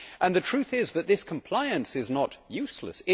The truth is that this compliance is not useless